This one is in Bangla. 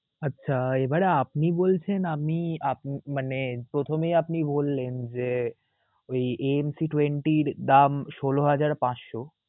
আচ্ছা, এবারে আপনি বলছেন আমি আপ~ মানে প্রথমেই আপনি বললেন যে এই mt twenty এর দাম ষোল হাজার পাঁচশ